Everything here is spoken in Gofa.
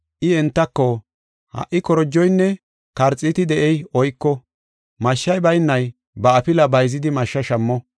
I entako, “Ha77i korojoynne karxiiti de7ey oyko; mashshi baynay ba afilaa bayzidi mashsha shammo.